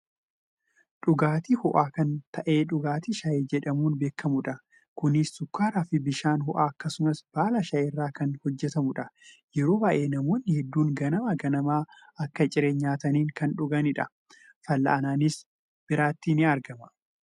Dhugaatii ho'aa kan ta'e dhugaatii shayii jedhamuun beekkamudha. Kunis sukkaaraafi bishaan ho'aa akkasumas baala shayii irraa kan hojjatamudha. Yeroo baayyee namoonni hedduun ganama ganama akka ciree nyaataniin kan dhuganidha. Fallaa'annis biratti argama.